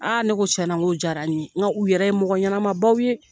ne ko tiɲɛ na n k'o jara n ye n k'u yɛrɛ ye mɔgƆɲɛnamabaw ye